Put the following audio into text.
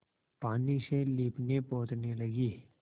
पानी से लीपनेपोतने लगी